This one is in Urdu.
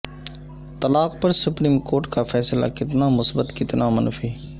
طلاق پر سپریم کورٹ کا فیصلہ کتنا مثبت کتنا منفی